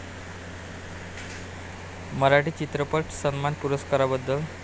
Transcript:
मराठी चित्रपट सन्मान पुरस्काराबद्दल